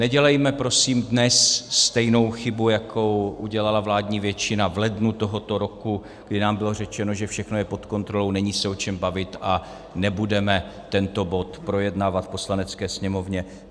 Nedělejme prosím dnes stejnou chybu, jako udělala vládní většina v lednu tohoto roku, kdy nám bylo řečeno, že všechno je pod kontrolou, není se o čem bavit a nebudeme tento bod projednávat v Poslanecké sněmovně.